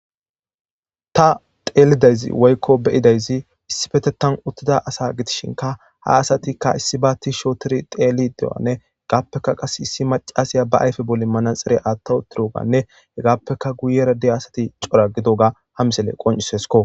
ta teelidayzi woykko beyidayzi issifete tan uttida asa gitishinka ha asatikka issi baatti shootiri teeli dewanne hegaappeka qas issi macasiya ba ayfe boli mana xere aatta uttiroganne hegappeka guyera de asati cora gido ga ha misele qoncisesko